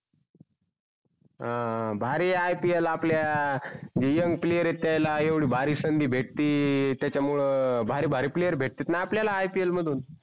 अं भारी आहे ipl आपल्या जो young player आहेत त्याला येवडी भारी संधि भेटती त्याच्या मूळे भारी भारी player भेटते णा आपल्या ipl मधून